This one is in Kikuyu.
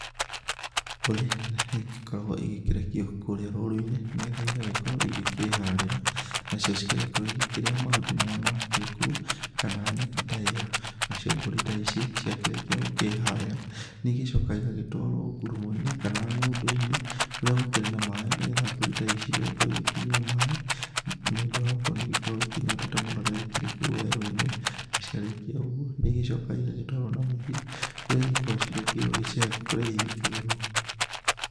Mbũri nĩigĩkoragwo igĩkĩrekio kũrĩa rũru-inĩ nĩgetha ĩgagĩkorwo ikĩharĩra nacio cigagĩkorwo ikĩrĩa mahuti marĩa makĩrĩ kũu kana nyeki ta ĩ yo. Nacio mbũri ta ici ciakĩrĩkia gũkĩharĩra nĩigĩcokaga ĩgagĩtwarwo ngũrũmo-inĩ kana ng'ondo-inĩ kũrĩa gũkĩrĩ na maaĩ nĩgetha mbũri ta ici igagĩkorwo ikĩnyua maaĩ nĩũndũ wa gũkorwo nĩigĩkoragwo ĩkĩnyota mũno rĩrĩa ikũu werũ-inĩ na ciarĩkĩa ũguo nĩicokaga igagĩtwarwo na mũciĩ kũrĩa ikoragwo ciakĩirwo gĩcegũ kũrĩa ihingagĩrwo.